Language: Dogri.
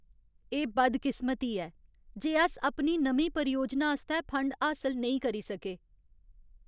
एह् बदकिस्मती ऐ जे अस अपनी नमीं परियोजना आस्तै फंड हासल नेईं करी सके।